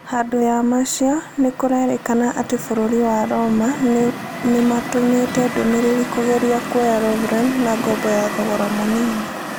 Handũ ya macio, nĩkũrerĩkana atĩ bũrũri wa Roma nĩmatũmĩte ndũmĩrĩri kũgeria kwoya Lovren na ngombo ya thogora mũnini